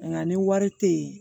Nka ni wari tɛ yen